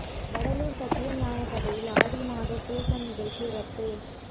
வடலூா் சத்ய ஞான சபையில் ஆடி மாத பூசம் நிகழ்ச்சிகள் ரத்து